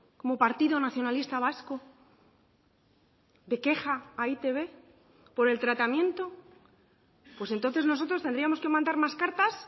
como partido nacionalista vasco de queja a e i te be por el tratamiento pues entonces nosotros tendríamos que mandar más cartas